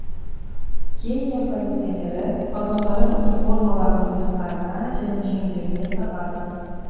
кения полицейлері погондарын униформаларының иықтарына және жеңдеріне тағады